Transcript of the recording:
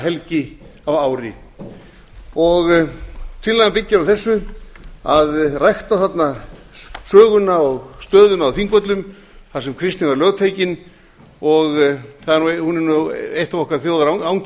helgi á ári tillagan byggir á þessu að rækta þarna söguna og stöðuna á þingvöllum þar sem kristni var lögtekin hún er eitt af okkar